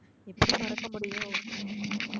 எப்படி மறக்க முடியும்